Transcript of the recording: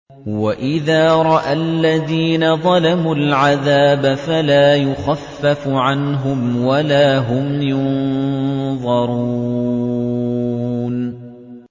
وَإِذَا رَأَى الَّذِينَ ظَلَمُوا الْعَذَابَ فَلَا يُخَفَّفُ عَنْهُمْ وَلَا هُمْ يُنظَرُونَ